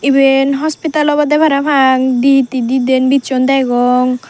iben hospital obode parapang di hittedi din bichon degong.